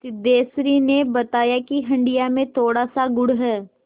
सिद्धेश्वरी ने बताया कि हंडिया में थोड़ासा गुड़ है